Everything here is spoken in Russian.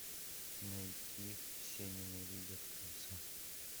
найти все ненавидят криса